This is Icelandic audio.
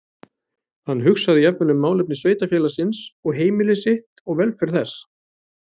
Hann hugsaði jafnvel um málefni sveitarfélagsins og heimili sitt og velferð þess.